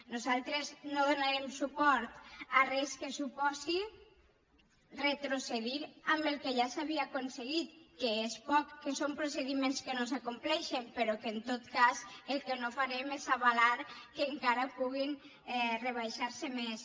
nosaltres no donarem suport a res que suposi retrocedir en el que ja s’havia aconseguit que és poc que són procediments que no s’acompleixen però que en tot cas el que no farem és avalar que encara puguin rebaixar se més